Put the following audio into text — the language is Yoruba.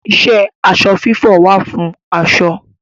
Iṣẹ́ aṣọ fífọ̀ wà fún aṣọ.